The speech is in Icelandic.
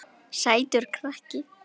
Sætur krakki!